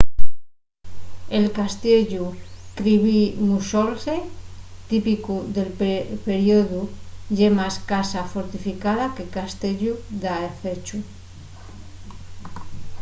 el castiellu kirby muxloe típicu del periodu ye más casa fortificada que castiellu dafechu